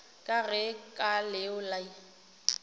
ka ge ka leo le